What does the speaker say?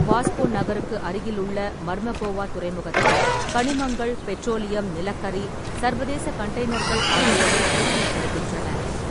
வாஸ்கோ நகருக்கு அருகிலுள்ள மர்மகோவா துறைமுகத்தில் கனிமங்கள், பெட்ரோலியம், நிலக்கரி, சர்வதேச கண்டெய்னர்கள் ஆகியவை கையாளப்படுகின்றன.